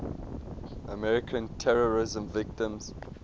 american terrorism victims